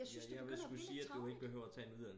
jeg synes det begynder at blive lidt tarveligt